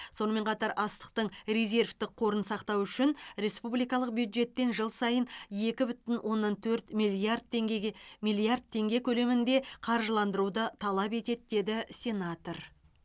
сонымен қатар астықтың резервтік қорын сақтау үшін республикалық бюджеттен жыл сайын екі бүтін оннан төрт миллиард теңгеге миллиард теңге көлемінде қаржыландыруды талап етеді деді сенатор